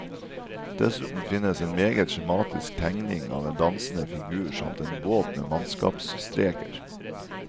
Dessuten finnes en meget skjematisk tegning av en dansende figur samt en båt med mannskapsstreker.